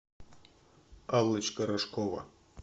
аллочка рожкова